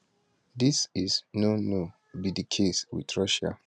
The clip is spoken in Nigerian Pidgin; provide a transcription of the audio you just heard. dis is no no be di case wit russia